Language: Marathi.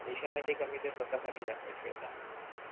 देशा साठी कमी ते स्वतः साठी जास्त खेळतात